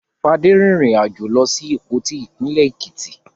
Fadé rìnrìn-àjò lọ sí Ìpoti, ìpínlẹ̀ Èkìtì.